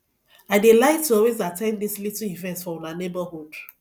i dey like to always at ten d dis little events for una neighborhood